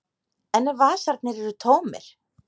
En ef vasarnir eru tómir?